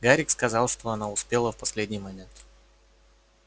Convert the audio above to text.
гарик сказал что она успела в последний момент